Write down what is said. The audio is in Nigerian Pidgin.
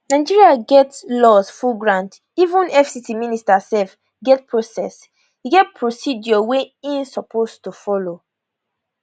nigeria get laws full ground even fct minister sef get process e get procedure wey im suppose to follow